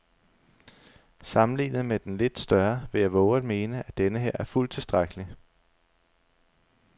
Sammenlignet med den lidt større vil jeg vove at mene, at denneher er fuldt tilstrækkelig.